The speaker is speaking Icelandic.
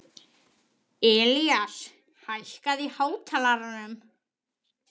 Ilías, hækkaðu í hátalaranum.